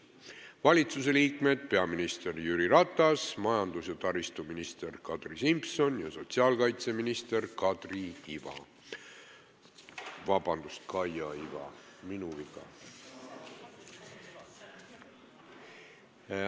Valitsuse liikmetest on infotunnis peaminister Jüri Ratas, majandus- ja taristuminister Kadri Simson ning sotsiaalkaitseminister Kaia Iva.